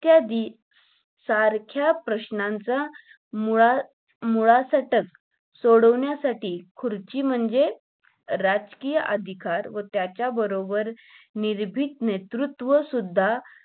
इत्यादी सारख्या प्रश्नांचा मुळा मुळासकट सोडवण्यासाठी खुर्ची म्हणजे, राजकीय अधिकार व त्याच्याबरोबर निरभीत नेतृत्व सुद्धा.